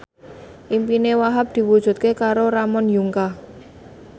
impine Wahhab diwujudke karo Ramon Yungka